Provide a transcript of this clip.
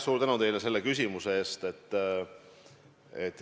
Suur tänu teile selle küsimuse eest!